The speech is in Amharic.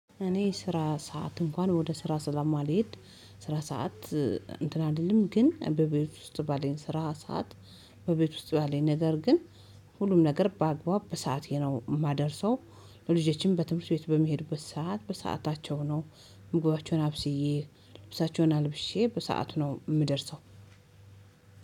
እኔ ስራ ሰዓት እንኳን ወደ ስራ ሰለማልሄድ። ስራ ሰዓት እንትን አይደለም ግን በቤት ውስጥ ባለን ስራ ሰዓት። በቤት ውስጥ ባለን ነገር ግን ሁሉም ነገር በአግባብ በሰአቴ ነው የማደርሰው። ለልጆቼም በትምህርት ቤት በሚሄድበት ሰዓት በሰአታቸው ነው። ምግባቸውን አብስዬ ልብሳቸውን አልብሼ በሰአቱ ነው የምደርሰው።